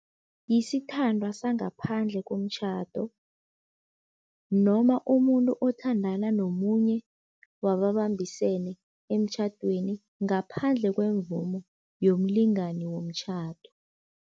Yisithandwa sangaphandle komtjhado noma umuntu othandana nomunye wababambisene emtjhadweni ngaphandle kwemvumo yomlingani womtjhado.